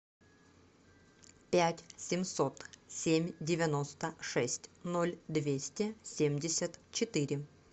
пять семьсот семь девяносто шесть ноль двести семьдесят четыре